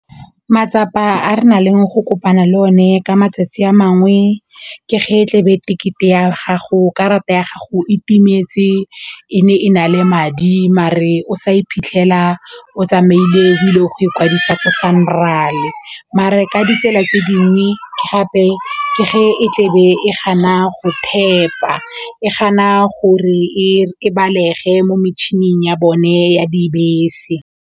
Matsapa a re nang le go kopana le o ne ka matsatsi a mangwe ke ge tle be karata ya gago e timetse e ne e na le madi mare o sa iphitlhela o tsamaile dilo go ikwadisa ko Sanral mare ka ditsela tse di mme gape ke ge e tlebe e gana go tap-a e gana gore e balege mo metšhining ya bone ya dibese.